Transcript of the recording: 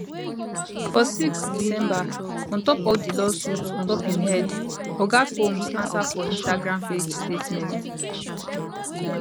for 6 december on top all di lawsuits on top im head oga combs ansa for instagram page statement